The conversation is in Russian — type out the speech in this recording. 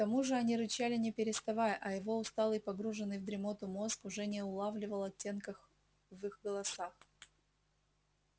тому же они рычали не переставая а его усталый погруженный в дремоту мозг уже не улавливал оттенках в их голосах